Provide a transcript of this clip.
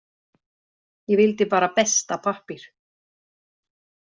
Ég vildi bara besta pappír.